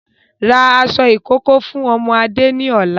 rà aṣọ ìkókó fún ọmọ Adé ni ọ̀la!